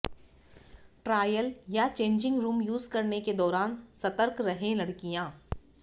trial या changing room use करने के दौरान सतर्क रहें लड़कियां